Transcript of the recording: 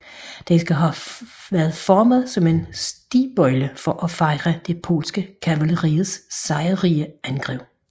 Den skal have været formet som en stigbøjle for at fejre det polske kavaleris sejrrige angreb